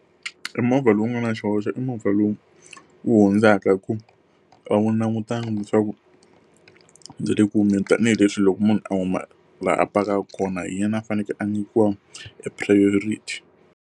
Emovha lowu nga na xihoxo i movha lowu wu hundzaka hikuva a wu langutangi leswaku ndzi le ku humeni tanihileswi loko munhu a huma laha a pakaka kona hi yena a fanekele a nyikiwa e priority.